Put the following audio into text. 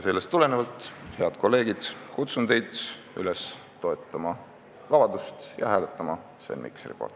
Sellest tulenevalt, head kolleegid, kutsun teid üles toetama vabadust ja hääletama Sven Mikseri poolt.